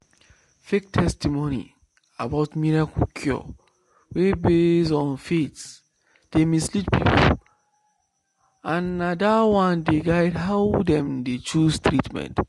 fake testimony about miracle cure wey base on faith dey mislead people and na that one dey guide how dem dey choose treatment.